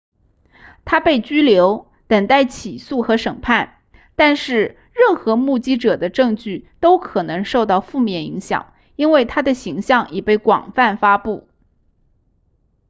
她被拘留等待起诉和审判但是任何目击者的证据都可能受到负面影响因为她的形象已被广泛发布